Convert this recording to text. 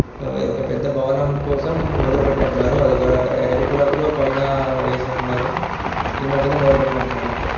ఆ ఒక భవనం కోసం మొదలు పెట్టినట్టు ఉన్నారు అదొక ఎరుపు రంగులో పైన వేసినట్టు ఉన్నారు ఈ మధ్యనే మొదలుపెట్టినట్టున్నారు అంతె --